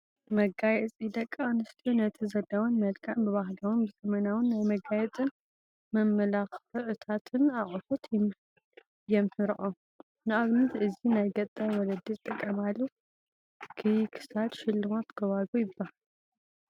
መጋየፂ፡- ደቂ ኣንስትዮ ነቲ ዘለዎን መልክዕ ብባህላውን ብዘበናውን ናይ መጋየፅን መመላኽታትን ኣቕሑት የምሕረኦ፡፡ ንኣብነት እዚ ናይ ገጠር ወለዲ ዝጥቀማሉ ክይ ክሳድ ሽልማት ጎባጉብ ይባሃል፡፡